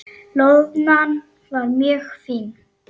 Loðnan var mjög fín.